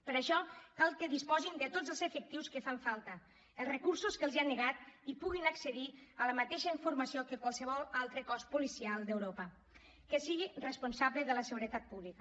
per això cal que disposin de tots els efectius que fan falta els recursos que els han negat i puguin accedir a la mateixa informació que qualsevol altre cos policial d’europa que sigui responsable de la seguretat pública